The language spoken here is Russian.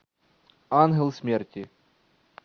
ангел смерти